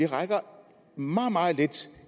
rækker meget meget lidt